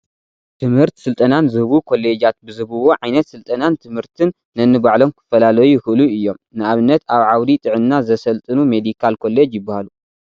ትምህርት ስልጠናን ዝህቡ ኮሌጃት ብዝህብዎ ዓይነት ስልጠናን ትምህርትን ነንባዕሎም ክፈላለዩ ይኽእሉ እዮም፡፡ ንኣብነት ኣብ ዓውዲ ጥዕና ዘሰልጥኑ ሜዲካል ኮሌጅ ይበሃሉ፡፡